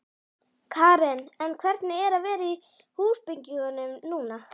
Karen: En hvernig er að vera í húsbyggingum núna?